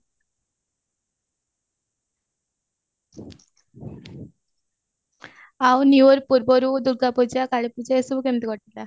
ଆଉ new year ପୂର୍ବରୁ ଦୁର୍ଗାପୂଜ କାଳୀ ପୂଜା ଏସବୁ କେମତି କଟିଲା